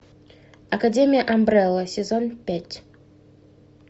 академия амбрелла сезон пять